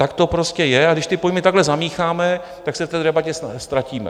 Tak to prostě je, a když ty pojmy takhle zamícháme, tak se v té debatě ztratíme.